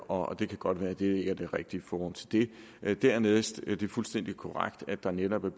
og det kan godt være at det ikke er det rigtige i forhold til det dernæst er det fuldstændig korrekt at der netop i